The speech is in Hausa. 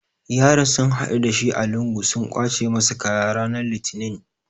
Yaron sun haɗu da shi a lungu sun kwace masa kaya rana Litinin.